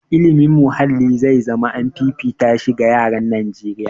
Ilimin muhalli zai zama an fifita shi ga yaran Najeriya.